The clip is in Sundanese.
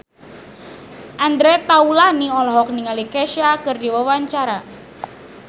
Andre Taulany olohok ningali Kesha keur diwawancara